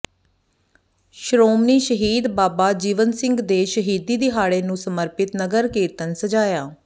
ਸ਼੍ਰੋਮਣੀ ਸ਼ਹੀਦ ਬਾਬਾ ਜੀਵਨ ਸਿੰਘ ਦੇ ਸ਼ਹੀਦੀ ਦਿਹਾੜੇ ਨੂੰ ਸਮਰਪਿਤ ਨਗਰ ਕੀਰਤਨ ਸਜਾਇਆ